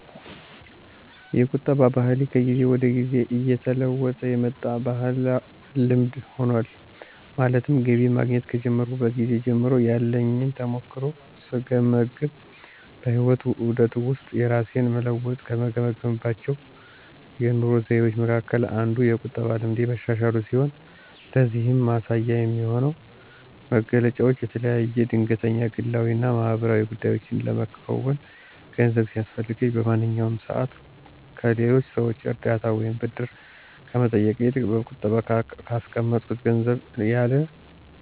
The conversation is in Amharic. የቁጠባ ባህሌ ከጊዜ ወደ ጊዜ እየተለወጠ የመጣ ልምድ ሆኗል። ማለትም ገቢ ማግኘት ከጀመርኩበት ጊዜ ጀምሮ ያለኝን ተሞክሮ ስገመግም በህይወት ዑደት ውስጥ የራሴን መለወጥ ከገመገምኩባቸው የኑሮ ዘይቤዎቸ መካከል አንዱ የቁጠባ ልምዴ መሻሻሉ ሲሆን ለዚህም ማሳያ የሚሆኑኝ መገለጫዎች የተለያዩ ድንገተኛ ግላዊ እና ማህበራዊ ጉዳዮችን ለመከወን ገንዘብ ሲያስፈልገኝ በማንኛውም ሰዓት ከሌሎች ሰዎች እርዳታ ወይም ብድር ከመጠየቅ ይልቅ በቁጠባ ካስቀመጥኩት ገንዘብ ያለ